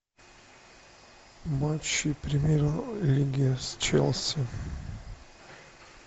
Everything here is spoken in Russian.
матчи премьер лиги с челси